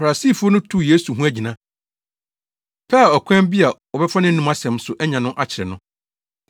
Farisifo no tuu Yesu ho agyina, pɛɛ ɔkwan bi a wɔbɛfa nʼanom asɛm so anya no akyere no.